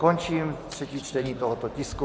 Končím třetí čtení tohoto tisku.